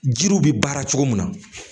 Jiriw bɛ baara cogo min na